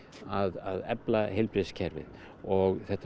að efla heilbrigðiskerfið og þetta